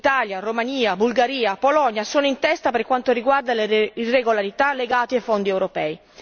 Italia, Romania, Bulgaria, Polonia sono in testa per quanto riguarda le irregolarità legate ai fondi europei.